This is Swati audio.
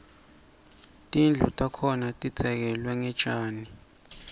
tindlu takhona tidzekelwe ngetjani